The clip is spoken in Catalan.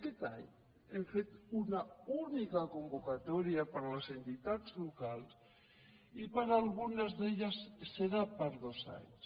aquest any hem fet una única convocatòria per a les entitats locals i per a algunes d’elles serà per dos anys